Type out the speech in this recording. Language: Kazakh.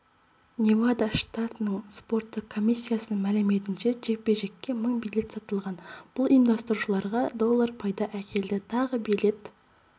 невада штатының спорттық комиссиясының мәліметінше жекпе-жекке мың билет сатылған бұл ұйымдастырушыларға доллар пайда әкелді тағы билет